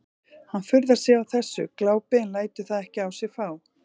Hann furðar sig á þessu glápi en lætur það ekki á sig fá.